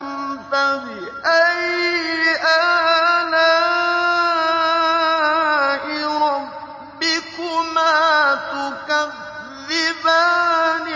فَبِأَيِّ آلَاءِ رَبِّكُمَا تُكَذِّبَانِ